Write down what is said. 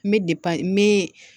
N bɛ n bɛ